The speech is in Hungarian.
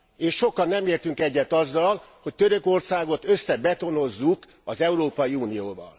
És sokan nem értünk egyet azzal, hogy Törökországot összebetonozzuk az Európai Unióval.